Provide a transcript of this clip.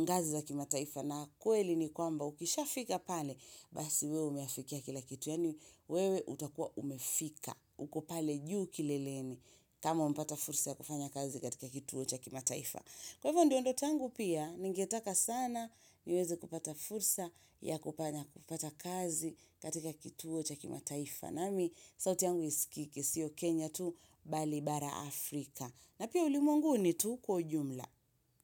ngazi za kimataifa na kweli ni kwamba ukishafika pale Basi wewe umeyafikia kila kitu, yaani wewe utakua umefika, uko pale juu kileleni kama umepata fursa ya kufanya kazi katika kituo cha kimataifa Kwa hivyo ndio ndoto yangu pia, ningetaka sana niweze kupata fursa ya kufanya kupata kazi katika kituo cha kimataifa nami, sauti yangu isikiki, siyo Kenya tu, Bali, bara, Afrika na pia ulimwenguni tu kwa ujumla.